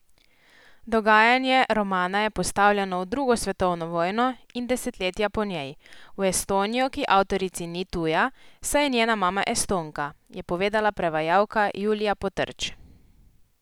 Dogajanje romana je postavljeno v drugo svetovno vojno in desetletja po njej v Estonijo, ki avtorici ni tuja, saj je njena mama Estonka, je povedala prevajalka Julija Potrč.